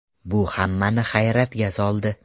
Bu hammani hayratga soldi.